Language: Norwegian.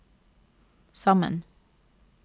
sammen